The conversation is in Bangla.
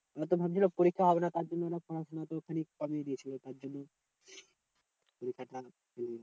ওরা তো ভাবছিলো পরীক্ষা হবে না তার জন্য ওরা পড়াশোনা তো কমিয়ে দিয়েছিলো তার জন্যই